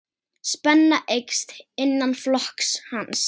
Spenna eykst innan flokks hans.